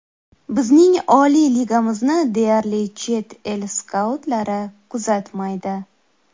Bizning oliy ligamizni deyarli chet el skautlari kuzatmaydi.